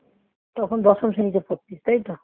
তখন দশম শ্রেণীতে পড়তিস তাইতো